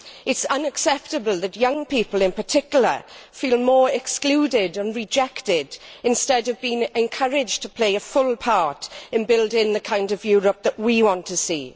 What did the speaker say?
It is unacceptable that young people in particular feel more excluded and rejected instead of being encouraged to play a full part in building the kind of Europe that we want to see.